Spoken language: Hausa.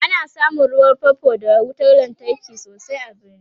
ana samun ruwan fanfo d wutar lantarki sosai a birni